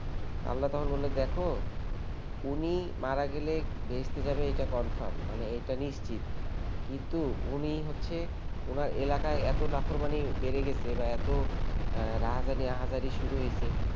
আল্লাহ তখন বলল দেখ উনি মারা গেলে বেহেস্তে যাবে এটা confirm মানে এটা নিশ্চিত কিন্তু উনি হচ্ছে ওনার এলাকায় এত নাফরমানি বেড়ে গেছে বা এতো রাহাজানি আহাজারী শুরু হয়েছে